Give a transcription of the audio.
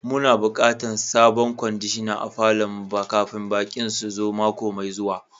Mu na bukatan sabon kwandishan a falon mu kafin baki'n su zo mako mai zuwa.